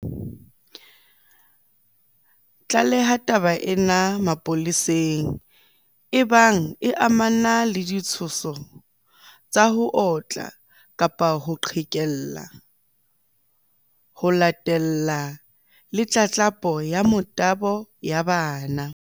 Tlaleha taba ena mapoleseng ebang e amana le ditshoso tsa ho otla kapa ho qhekella, ho latella le tlatlapo ya motabo ya bana.